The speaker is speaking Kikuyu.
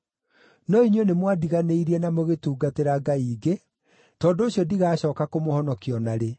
No inyuĩ nĩmwandiganĩirie na mũgĩtungatĩra ngai ingĩ, tondũ ũcio ndigacooka kũmũhonokia o na rĩ.